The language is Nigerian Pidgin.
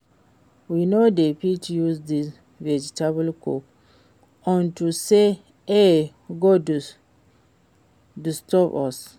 We no dey fit use dis vegetable cook unto say e go disturb us